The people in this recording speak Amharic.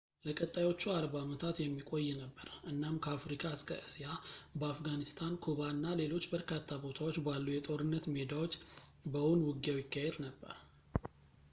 ለቀጣዮቹ 40 ዓመታት የሚቆይ ነበር እናም ከአፍሪካ እስከ እስያ በአፍጋኒስታን ኩባ እና ሌሎች በርካታ ቦታዎች ባሉ የጦርነት ሜዳዎች በእውን ውጊያው ይካሄድ ነበር